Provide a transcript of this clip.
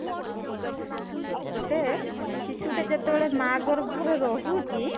ଗୋଟେ ଶିଶୁ ଟେ ଯେତେବେଳେ ମା ଗର୍ଭରେ ରହୁଛି